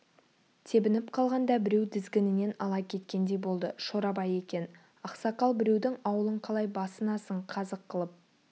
тебініп қалғанда біреу тізгінінен ала кеткендей болды шорабай екен ақсақал біреудің ауылын қалай басынасың қазық қылып